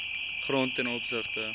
grond ten opsigte